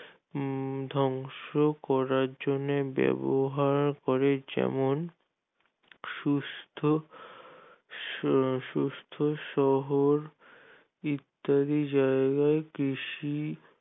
ধ্বংস করার জন্য ব্যবহার করে যেমন সুস্থ সু সুস্থ সবল ইত্যাদি জায়গায় কৃষি